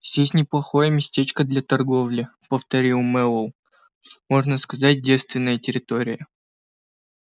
здесь неплохое местечко для торговли повторил мэллоу можно сказать девственная территория